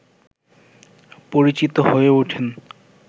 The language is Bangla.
পরিচিত হয়ে ওঠেন